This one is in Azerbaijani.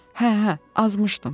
Hə, hə, azmışdım.